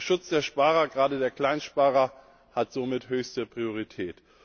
Der Schutz der Sparer, gerade der Kleinsparer, hat somit höchste Priorität.